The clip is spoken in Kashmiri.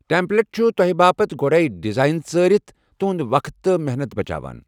ٹیمپلیٹ چھُ تۄہہِ باپتھ گۄڈٕے ڈیزائن ژٲرِتھ تُہنٛد وقت تہٕ محنت بچاوان۔